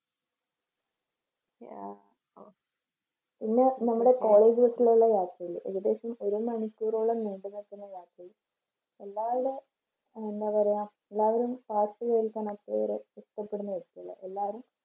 പിന്നെ നമ്മുടെ പാട്ടുകള് ഏകദേശം ഒരു മണിക്കൂറോളം നീണ്ടുനിൽക്കുന്ന പാട്ടുകൾ എന്താ പറയുക എല്ലാവരും പാട്ട് കേൾക്കാൻ അത്രയേറെ ഇഷ്ടപ്പെടുന്ന വ്യക്തികള് എല്ലാരും